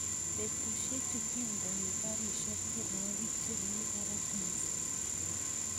betusiechu kondenoi karishek tienwokik chemi barak mising